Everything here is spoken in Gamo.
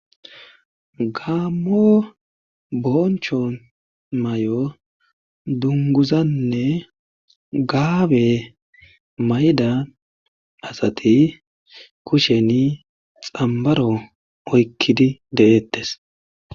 gaammo boncho mayo dunguzanne gaabe mayida asati kusheni xambaro oykkidi de'eettes